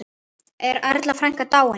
Er Erla frænka dáin?